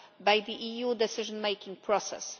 by the EU decision making process.